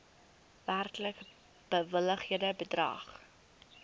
werklik bewilligde bedrag